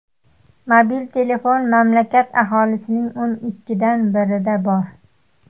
Mobil telefon mamlakat aholisining o‘n ikkidan birida bor.